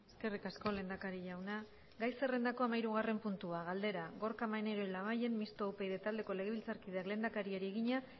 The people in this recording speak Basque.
eskerrik asko lehendakari jauna gai zerrendako hamahirugarren puntua galdera gorka maneiro labayen mistoa upyd taldeko legebiltzarkideak lehendakariari egina